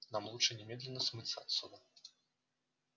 нам лучше немедленно смыться отсюда